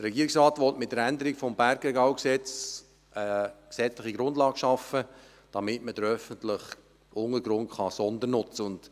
Der Regierungsrat will mit der Änderung des BRG eine gesetzliche Grundlage schaffen, damit man den öffentlichen Untergrund sondernutzen kann.